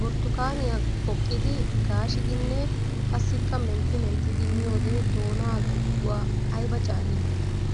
Burttukaaniya poqqiddi gaashiddinne qassikka mentti menttiddi miyoode doona giduwa aybba caali!